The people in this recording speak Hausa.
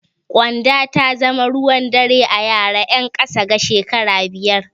Ƙyanda ta zama ruwan dare a yara ƴan ƙasa da shekara biyar.